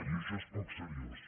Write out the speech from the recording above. i això és poc seriós